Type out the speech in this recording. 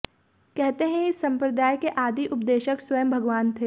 कहते हैं इस संम्प्रदाय के आदि उपदेशक स्वयं भगवान थे